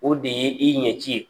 O de ye i ɲɛci ye.